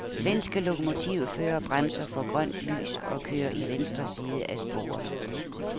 Svenske lokomotivførere bremser for grønt lys og kører i venstre side af sporet.